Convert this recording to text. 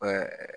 Ɛɛ